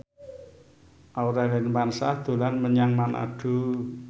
Aurel Hermansyah dolan menyang Manado